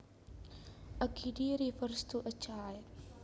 A kiddy refers to a child